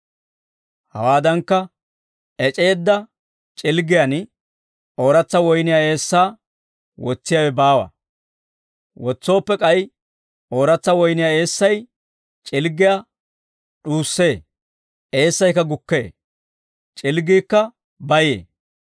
Hawaadankka ec'eedda c'ilggiyaan ooratsa woyniyaa eessaa wotsiyaawe baawa; wotsooppe k'ay ooratsa woyniyaa eessay c'ilggiyaa d'uussee; eessaykka gukkee; c'ilggaykka bayee.